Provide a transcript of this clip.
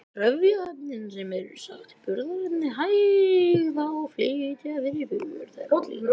Trefjaefnin eru sem sagt burðarefni hægða og flýta fyrir för þeirra úr líkamanum.